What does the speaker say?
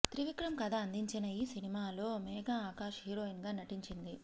త్రివిక్రమ్ కథ అందించిన ఈ సినిమాలో మేఘా ఆకాష్ హీరోయిన్ గా నటించింది